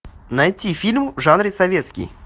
найти фильм в жанре советский